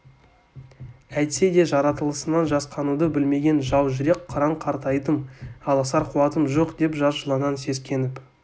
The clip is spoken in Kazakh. әйтсе де жаратылысынан жасқануды білмеген жау жүрек қыран қартайдым алысар қуатым жоқ деп жас жыланнан сескеніп